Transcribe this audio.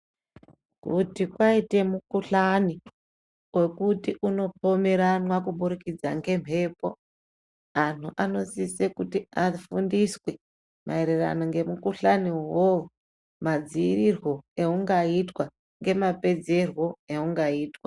Kuti kwaita mikuhlani ngekuti kunopomerwana kuburikidza ngemhepo anhu anosisa kuti afundiswe maererano nemikuhlani iyoyo magadziriwo aingaitwa nemapedzero aingaitwa.